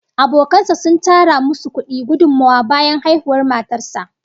Abokan sa sun tara musu kudi gudummawa bayan haihuwar matar sa